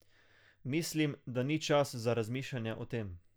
Mislim, da ni čas za razmišljanje o tem.